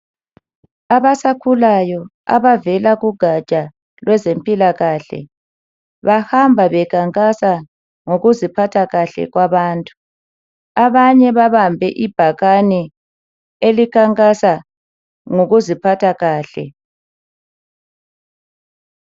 Abasakhulayo abavela kugatsha lwezempilakahle bahamba bekhankasa ngokuziphatha kahle kwabantu, abanye babambe ibhakane elikhankasa ngokuziphatha kahle.